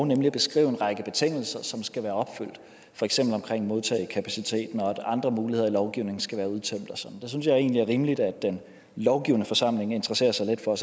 nemlig at beskrive en række betingelser som skal være opfyldt for eksempel omkring modtagekapaciteten og at andre muligheder i lovgivningen skal være udtømt det synes jeg egentlig er rimeligt at den lovgivende forsamling interesserer sig lidt for